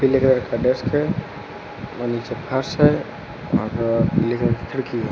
एक रखा डेस्क है और नीचे फर्श है और ग्रे कलर की खिड़की है।